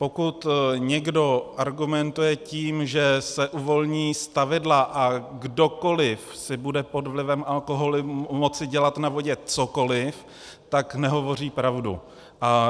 Pokud někdo argumentuje tím, že se uvolní stavidla a kdokoliv si bude pod vlivem alkoholu moci dělat na vodě cokoliv, tak nehovoří pravdu.